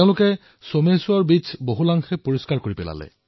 দুয়ো লগ হৈ সমুদ্ৰতীৰৰ পৰা বহু আৱৰ্জনা পৰিষ্কাৰ কৰিলে